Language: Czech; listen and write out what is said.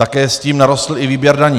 Také s tím narostl i výběr daní.